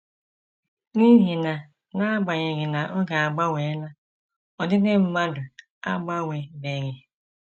N’ihi na n’agbanyeghị na oge agbanweela, ọdịdị mmadụ agbanwebeghị.